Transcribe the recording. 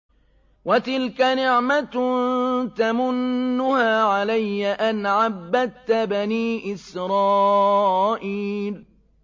وَتِلْكَ نِعْمَةٌ تَمُنُّهَا عَلَيَّ أَنْ عَبَّدتَّ بَنِي إِسْرَائِيلَ